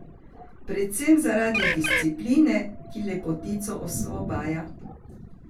Predvsem zaradi discipline, ki lepotico osvobaja.